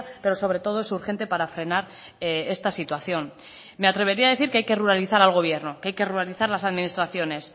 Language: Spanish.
pero sobre todo es urgente para frenar esta situación me atrevería a decir que hay que ruralizar al gobierno que hay que ruralizar las administraciones